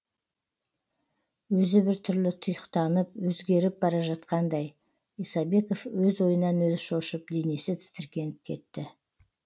өзі бір түрлі тұйықтанып өзгеріп бара жатқандай исабеков өз ойынан өзі шошып денесі тітіркеніп кетті